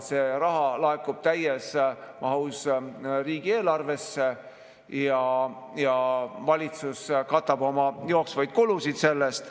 See raha laekub täies mahus riigieelarvesse ja valitsus katab oma jooksvaid kulusid sellest.